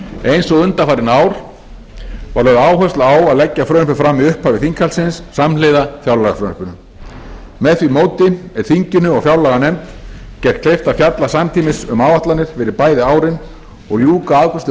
eins og undanfarin ár var lögð áhersla á að leggja frumvarpið fram í upphafi þinghaldsins samhliða fjárlagafrumvarpinu með því móti er þinginu og fjárlaganefnd gert kleift að fjalla samtímis um áætlanir fyrir bæði árin og ljúka afgreiðslu